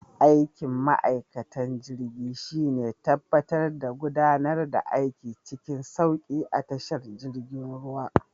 Aikin ma'aikatan jirgin shine tabbatar da gudanar da aiki cikin sauki a tashar girjin ruwa.